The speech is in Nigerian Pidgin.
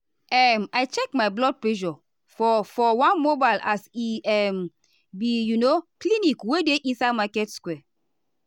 um i check my blood pressure for for one mobile as e um be um clinic wey dey inside market square.